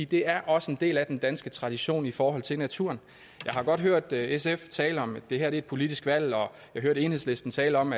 det er også en del af den danske tradition i forhold til naturen jeg har godt hørt sf tale om at det her er et politisk valg og jeg hørte enhedslisten tale om